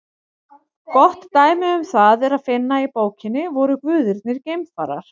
Gott dæmi um það er að finna í bókinni Voru guðirnir geimfarar?